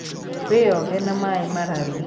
Wĩoge na maĩmararu.